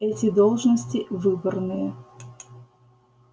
эти должности выборные